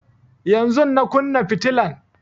Yanzun na kunna fitilan